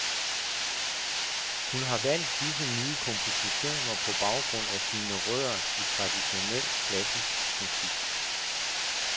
Hun har valgt disse nye kompositioner på baggrund af sine rødder i traditionel klassisk musik.